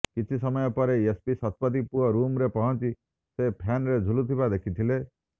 କିଛି ସମୟ ପରେ ଏସିପି ଶତପଥୀ ପୁଅ ରୁମ୍ରେ ପହଞ୍ଚି ସେ ଫ୍ୟାନରେ ଝୁଲୁଥିବା ଦେଖିଥିଲେ